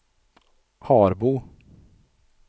Harbo